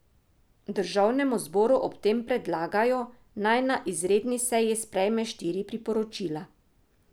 Državnemu zboru ob tem predlagajo, naj na izredni seji sprejme štiri priporočila.